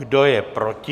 Kdo je proti?